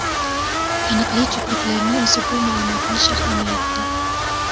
Taniqli juftlikning o‘zi bu ma’lumotni sharhlamayapti.